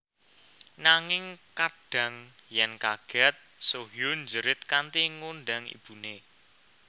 Nanging kadhang yen kaget Soo Hyun njerit kanthi ngundang ibune